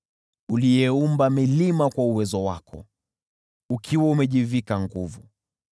uliyeumba milima kwa uwezo wako, ukiwa umejivika nguvu,